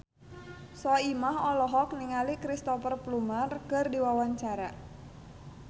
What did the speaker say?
Soimah olohok ningali Cristhoper Plumer keur diwawancara